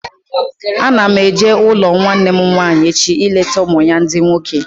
Ana m eje n'ụlọ nwanne m nwaanyị echi ileta ụmụ ya ndị nwoke